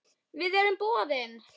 Við erum boðin.